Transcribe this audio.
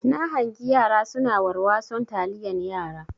Na hangi yara suna warwason taliyan yara.